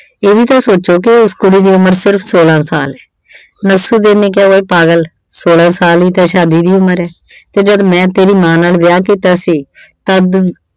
ਇਹ ਵੀ ਤਾਂ ਸੋਚੋ ਕਿ ਉਸ ਕੁੜੀ ਦੀ ਉਮਰ ਸਿਰਫ਼ ਸੌਲਾ ਸਾਲ ਏ। ਨਸਰੂਦੀਨ ਨੇ ਕਿਹਾ ਕਿ ਉਏ ਪਾਗਲ ਸੋਲ੍ਹਾਂ ਸਾਲ ਈ ਤਾਂ ਸ਼ਾਦੀ ਦੀ ਉਮਰ ਐ ਤੇ ਮੈਂ ਜਦ ਤੇਰੀ ਮਾਂ ਨਾਲ ਵਿਆਹ ਕੀਤਾ ਸੀ ਤਦ